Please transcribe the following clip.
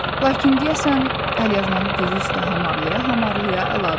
Lakin deyəsən əlyazmanı dizi üstə hamarlaya-hamarlaya əlavə etdi.